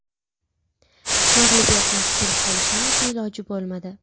Mag‘lubiyatdan qutulib qolishning esa iloji bo‘lmadi.